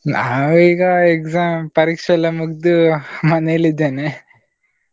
ನಾವು ಈಗ exam ಪರೀಕ್ಷೆ ಎಲ್ಲಾ ಮುಗ್ದು ಮನೆಲ್ಲಿದ್ದೇನೆ.